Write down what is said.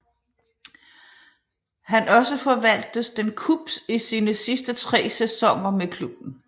Han også forvaltes den Cubs i sine sidste tre sæsoner med klubben